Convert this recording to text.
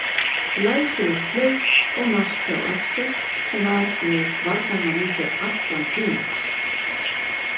Glæsilegt hlaup og mark hjá Axel sem að var með varnarmann í sér allan tímann.